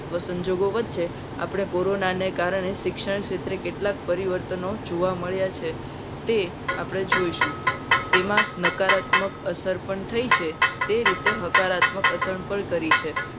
આવા સંજોગો વચ્ચે આપણે કોરોના ને કારણે શિક્ષણ ક્ષેત્રે કેટલાક પરિવર્તનો જોવા મળ્યા છે. તે આપણે જોઇશું તેમાં નકારાત્મક અસર પણ થઈ છે. તે રીતે હકારાત્મક અસર પણ કરી છે.